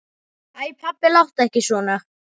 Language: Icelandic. Æ pabbi, láttu ekki svona.